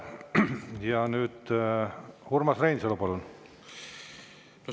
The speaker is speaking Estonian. Ja nüüd Urmas Reinsalu, palun!